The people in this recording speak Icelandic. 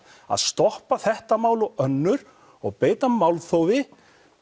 að stoppa þetta mál og önnur og beita málþófi